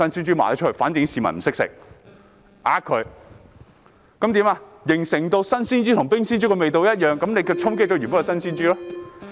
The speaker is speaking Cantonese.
這樣市民便以為新鮮豬肉與冰鮮豬肉味道一樣，結果衝擊原本的新鮮豬肉。